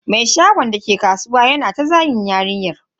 Mai shagon dake kasuwa yana ta zagin yarinyar.